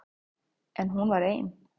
En hún var ein.